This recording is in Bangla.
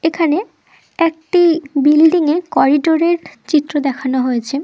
এখানে একটি বিল্ডিং -এর করিডোর -এর চিত্র দেখানো হয়েছে--